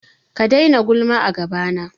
Ka daina gulma a gabana.